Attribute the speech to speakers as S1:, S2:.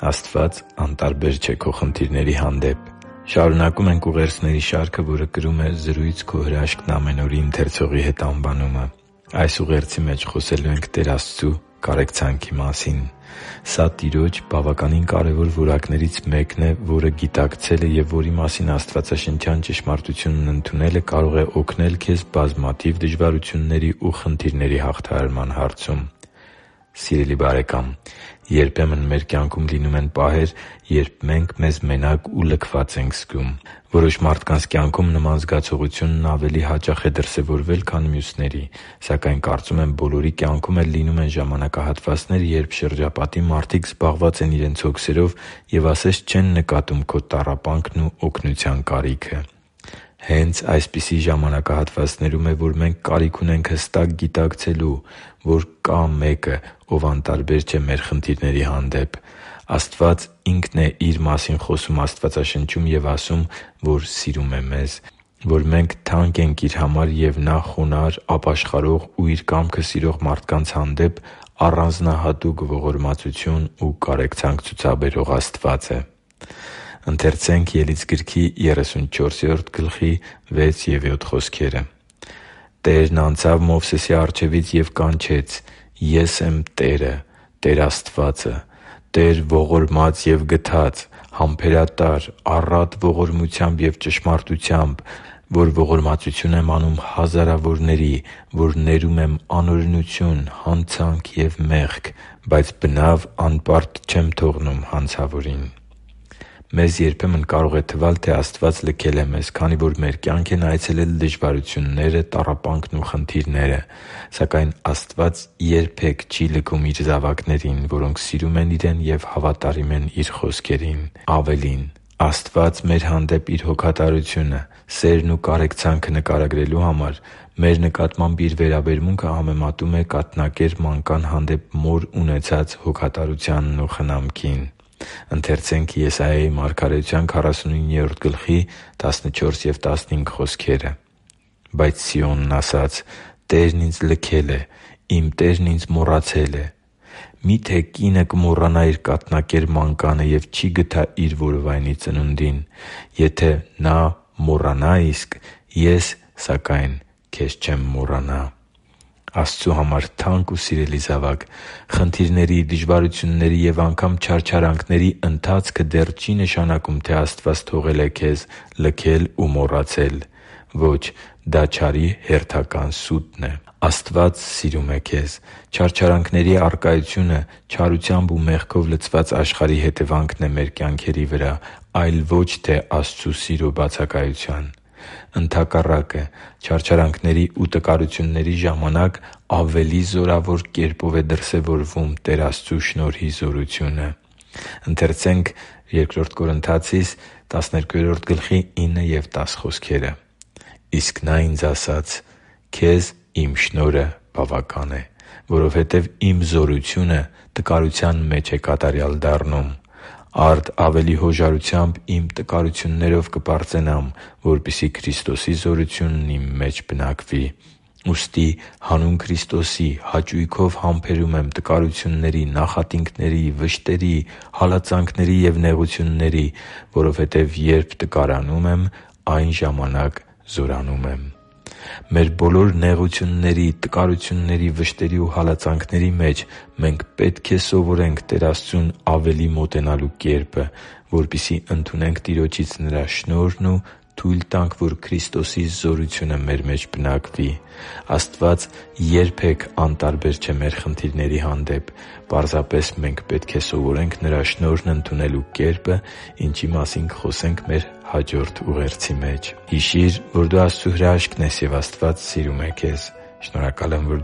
S1: Աստված անտարբեր չէ քո խնդիրների հանդեպ Շարունակում ենք ուղերձների շարքը, որը կրում է «Զրույց«Քո հրաշքն՝ ամեն օր»-ի ընթերցողի հետ» անվանումը։ Այս ուղերձի մեջ խոսելու ենք Տեր Աստծու կարեկցանքի մասին։ Սա Տիրոջ՝ բավականին կարևոր որակներից մեկն է, որը գիտակցելը և որի մասին աստվածաշնչյան ճշմարտությունն ընդունելը կարող է օգնել քեզ բազմաթիվ դժվարությունների ու խնդիրների հաղթահարման հարցում։ Սիրելի՛ բարեկամ, երբեմն մեր կյանքում լինում են պահեր, երբ մենք մեզ մենակ ու լքված ենք զգում։ Որոշ մարդկանց կյանքում նման զգացողությունն ավելի հաճախ կարող է դրսևորվել, քան մյուսների։ Սակայն, կարծում եմ, բոլորի կյանքում էլ լինում են ժամանակահատվածներ, երբ շրջապատի մարդիկ զբաղված են իրենց հոգսերով և ասես չեն նկատում քո տառապանքն ու օգնության կարիքը։ Հե՛նց այսպիսի ժամակահատվածներում է, որ մենք կարիք ունենք հստակ գիտակցելու, որ կա՛ Մեկը, Ով անտարբեր չէ մեր խնդիրների հանդեպ։ Աստված Ինքն է Իր մասին խոսում Աստվածաշնչում և ասում, որ սիրում է մեզ, որ մենք թանկ ենք Իր համար և որ Նա խոնարհ, ապաշխարող ու Իր կամքը սիրող մարդկանց հանդեպ առանձնահատուկ ողորմածություն ու կարեկցանք ցուցաբերող Աստված է։ «Տերն անցավ Մովսեսի առջևից և կանչեց. «Ես եմ Տերը, Տեր Աստվածը՝ Տեր ողորմած և գթած, համբերատար, առատ ողորմությամբ և ճշմարտությամբ, որ ողորմածություն եմ անում հազարավորների, որ ներում եմ անօրենություն, հանցանք և մեղք, բայց բնավ անպարտ չեմ թողնում հանցավորին․․․» (Ելից 34.6-7): Մեզ երբեմն կարող է թվալ, թե Աստված լքել է մեզ, քանի որ մեր կյանք են այցելել դժվարությունները, տառապանքն ու խնդիրները։ Սակայն Աստված երբե՛ք չի լքում Իր զավակներին, որոնք սիրում են Իրեն ու հավատում են Իր խոսքերին։ Ավելին, Աստված մեր հանդեպ Իր հոգատարությունը, սերն ու կարեկցանքը նկարագրելու համար մեր նկատմամբ Իր վերաբերմունքը համեմատում է կաթնակեր մանկան հանդեպ մոր ունեցած հոգատարությանն ու խնամքին։ «Բայց Սիոնն ասաց. «Տերն ինձ լքել է, իմ Տերն ինձ մոռացել է»։ Մի՞թե կինը կմոռանա իր կաթնակեր մանկանը և չի՞ գթա իր որովայնի ծնունդին. եթե նա մոռանա իսկ, Ես, սակայն, քեզ չեմ մոռանա» (Եսայիա 49․14-15): Աստծու համար թանկ ու սիրելի՛ զավակ, խնդիրների, դժվարությունների և անգամ չարչարանքների ընթացքը դեռ չի նշանակում, թե Աստված թողել է քեզ, լքել ու մոռացել։ Ո՛չ, դա չարի հերթական սուտն է։ Աստված սիրում է քեզ։ Չարչարանքների առկայությունը չարությամբ ու մեղքով լցված աշխարհի հետևանքն է մեր կյանքերի վրա, այլ ոչ թե Աստծու սիրո բացակայության։ Ընդհակառակը՝ չարչարանքների ու տկարության ժամանակներում ավելի զորավոր կերպով է դրսևորվում Տեր Աստծու շնորհի զորությունը։ «Իսկ Նա ինձ ասաց. «Քեզ Իմ շնորհը բավական է, որովհետև Իմ զորությունը տկարության մեջ է կատարյալ դառնում»։ Արդ ավելի հոժարությամբ իմ տկարություններով կպարծենամ, որպեսզի Քրիստոսի զորությունն իմ մեջ բնակվի։ Ուստի հանուն Քրիստոսի հաճույքով համբերում եմ տկարությունների, նախատինքների, վշտերի, հալածանքների և նեղությունների, որովհետև երբ տկարանում եմ, այն ժամանակ զորանում եմ» (Բ Կորնթացիներին 12.9-10): Մեր բոլոր նեղությունների, տկարությունների, վշտերի ու հալածանքների մեջ մենք պետք է սովորենք Տեր Աստծուն ավելի մոտենալու կերպը, որպեսզի ընդունենք Տիրոջից Նրա շնորհն ու թույլ տանք, որ Քրիստոսի զորությունը մեր մեջ բնակվի։ Աստված երբե՛ք անտարբեր չէ մեր խնդիրների հանդեպ։ Պարզապես մենք պետք է սովորե՛նք Նրա շնորհն ընդունելու կերպը, ինչի մասին կխոսենք մեր հաջորդ ուղերձի մեջ․․․ Հիշի՛ր, որ դու Աստծո հրաշքն ես, և Աստված սիրում է քեզ։ Շնորհակալ եմ, որ